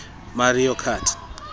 mario kart